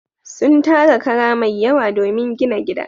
Sun tara kara mai yawa domin gina gida.